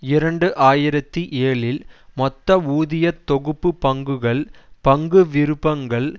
இரண்டு ஆயிரத்தி ஏழில் மொத்த ஊதிய தொகுப்பு பங்குகள் பங்கு விருப்பங்கள்